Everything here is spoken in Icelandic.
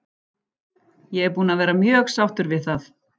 Ég er búinn að vera mjög sáttur við það.